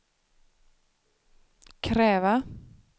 kräva